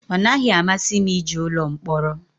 Ọ naghị amasị m ije ụlọ mkpọrọ